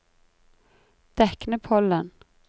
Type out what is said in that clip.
Deknepollen